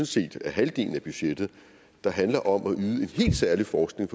set er halvdelen af budgettet handler om at yde en helt særlig forskning